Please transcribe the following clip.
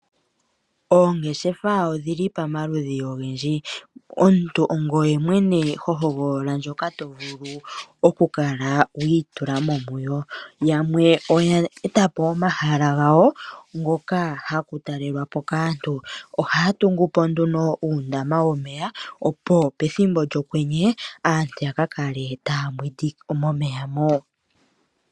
Oongeshefa odhi li pamaludhi ogendji. Omuntu ongoye mwene ho hogolola ndjoka to vulu oku kala wi i tula mo muyo. Yamwe oya eta po omahala ga wo ngoka haku talelwa po kaantu, oha ya tungu po nduno uundama womeya opo pethimbo lyOkwenye aantu ya ka kale taa mbwindi momeya mo.